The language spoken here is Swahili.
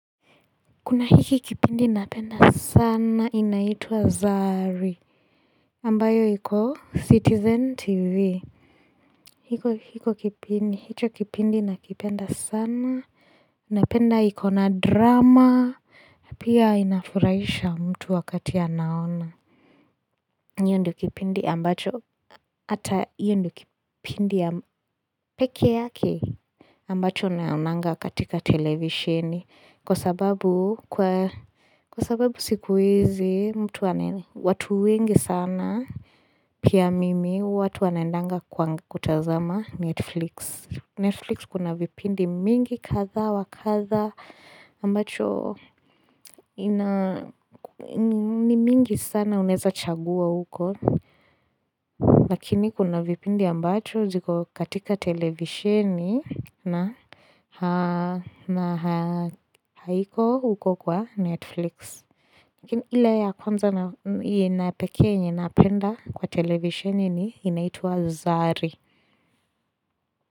Kuna hiki kipindi napenda sana inaitwa Zari ambayo iko Citizen TV hiko hicho kipindi nakipenda sana Napenda iko na drama Pia inafuraisha mtu wakati anaona hio ndio kipindi ambacho Hata hio ndio kipindi ya pekee yake ambacho naonanga katika televisheni Kwa sababu siku hizi, watu wengi sana, pia mimi, watu wanaendanga kwa kutazama Netflix. Netflix kuna vipindi mingi kadhaa wa kadha, ambacho ni mingi sana unaeza chagua huko. Lakini kuna vipindi ambacho ziko katika televisheni na haiko huko kwa Netflix. Ile ya kwanza na ya pekee yenye napenda kwa televisheni ni inaitwa zari.